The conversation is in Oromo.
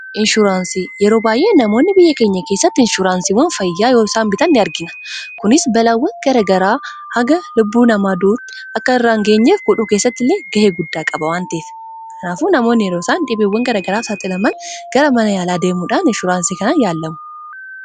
Biyya keenya keessatti namoonni yeroo baay'ee inshuraansii fayyaa bitatanii ni argina. Kunis balaawwan garaa garaa lubbuu namaa galaafatan irraa ittisuu fi yeroo dhibee garaa garaatiif saaxilaman gara mana yaalaa deemuun wabii kanaan yaalamuu akka danda'an taasisa. Kanaafuu, inshuraansiin kun yeroo rakkoon fayyaa qunnamu tajaajila yaalaa argachuuf gahee guddaa qaba.